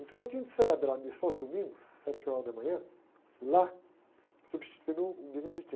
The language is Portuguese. Então, eu tinha que celebrar a missa aos domingos, sete horas da manhã, lá, substituindo um beneditino, né?